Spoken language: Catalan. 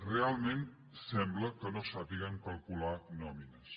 realment sembla que no sàpiguen calcular nòmines